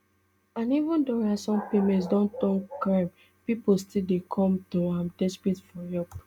and even though ransom payments don turn crime pipo still dey come to am desperate for help